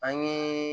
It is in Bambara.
An ye